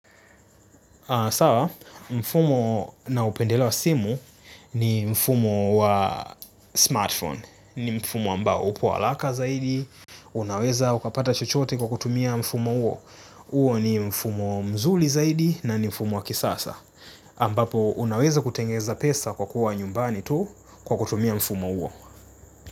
Sawa, mfumo na upendeleo wa simu ni mfumo wa smartphone, ni mfumo ambao upo haraka zaidi, unaweza ukapata chochote kwa kutumia mfumo huo, huo ni mfumo mzuri zaidi na ni mfumo wa kisasa, ambapo unaweza kutengeza pesa kwa kuwa nyumbani tu kwa kutumia mfumo huo.